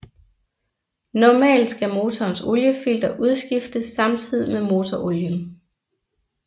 Normalt skal motorens oliefilter udskiftes samtidig med motorolien